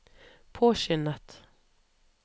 påskyndet